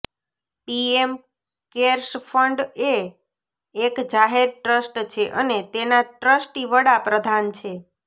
PM CARES fund એ એક જાહેર ટ્રસ્ટ છે અને તેના ટ્રસ્ટી વડા પ્રધાન છે